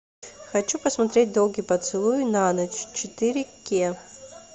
хочу посмотреть долгий поцелуй на ночь четыре кей